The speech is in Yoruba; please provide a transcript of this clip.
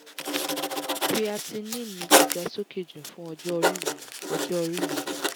creatinine mi ti ga sókè jù fún ọjọ́ orí mi ọjọ́ orí mi